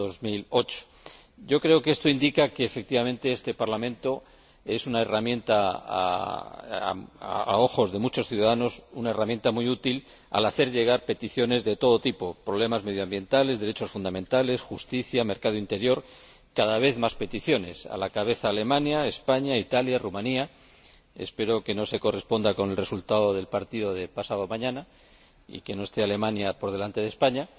2008. Yo creo que esto indica que, efectivamente, este Parlamento es, a ojos de muchos ciudadanos, una herramienta muy útil a la hora de hacerle llegar peticiones de todo tipo problemas medioambientales, derechos fundamentales, justicia, mercado interior Cada vez más peticiones a la cabeza Alemania, España, Italia, Rumanía —espero que no se corresponda con el resultado del partido de pasado mañana y que no esté Alemania por delante de España—.